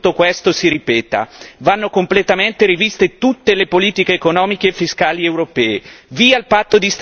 Io non voglio che tutto questo si ripeta! Vanno completamente riviste tutte le politiche economiche e fiscali europee!